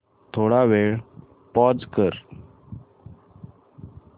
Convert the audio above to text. थोडा वेळ पॉझ कर